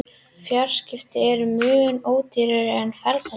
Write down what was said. Fjarskipti eru mun ódýrari en ferðalög.